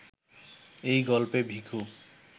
এই গল্পে ভিখু